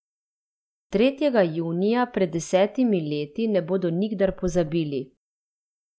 Tretjega junija pred desetimi leti ne bodo nikdar pozabili!